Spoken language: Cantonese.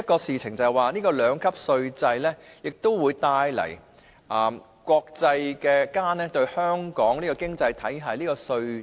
此外，兩級稅制可讓國際社會認識香港這個經濟體的稅制。